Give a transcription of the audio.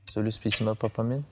сөйлеспейсің бе папамен